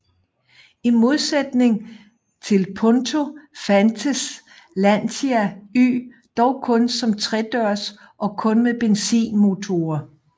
I modsætning til Punto fandtes Lancia Y dog kun som tredørs og kun med benzinmotorer